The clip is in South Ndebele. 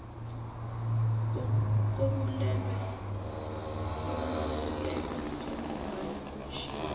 kobulwelwe njengombana kutjhiwo